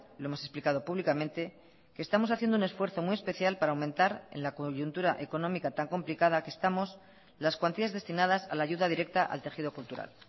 lo hemos explicado públicamente que estamos haciendo un esfuerzo muy especial para aumentar en la coyuntura económica tan complicada que estamos las cuantías destinadas a la ayuda directa al tejido cultural